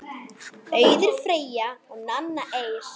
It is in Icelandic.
Auður Freyja og Nanna Eir.